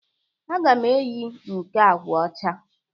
Aga m eyi nke agwa ọcha.